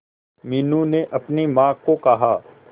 मीनू ने अपनी मां को कहा